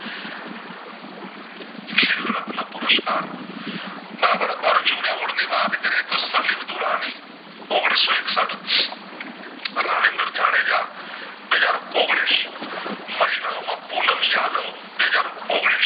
એમનો પુરુષકાર બરાબર અરજુન award ની વાત કરીયે તો સલીમ ઔગણીશઓ એકસાઠ રવિન્દર જાડેજા બે હાજર ઔગણીશ મહિલા ઓ માં પૂનમ યાદવ બે હાજર ઔગણીશ